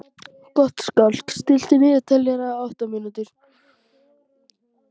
Gottskálk, stilltu niðurteljara á átta mínútur.